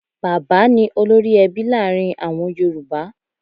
Bàbá ni olórí-ẹbí láàrin àwọn yorùbá.